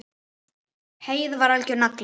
Heiða var algjör nagli.